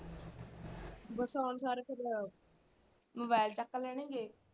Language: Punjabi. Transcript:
ਬਸ ਆਉਣਸਾਰ ਫਿਰ mobile ਚੱਕ ਲੈਣ ਗੇ।